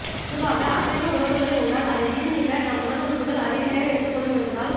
பொதுவாக அசைவ உணவுகளை உண்டால் அதை ஜீரணிக்க நம் உடல் உறுப்புகள் அதிக நேரம் எடுத்துக் கொள்ளும் என்பதால்